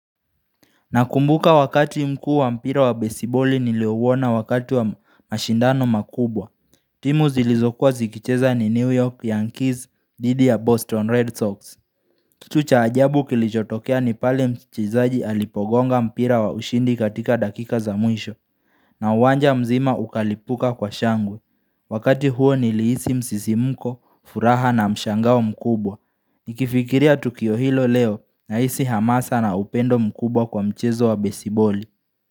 Nakumbuka wakati mkuu wa mpira wa besiboli niliouona wakati wa mashindano makubwa. Timu zilizokuwa zikicheza ni New York Yankees dhidi ya Boston Red Sox. Kitu cha ajabu kilichotokea ni pale mchezaji alipogonga mpira wa ushindi katika dakika za mwisho. Na uwanja mzima ukalipuka kwa shangwe. Wakati huo nilihisi msisimuko, furaha na mshangao mkubwa. Nikifikiria tukio hilo leo nahisi hamasa na upendo mkubwa kwa mchezo wa besiboli.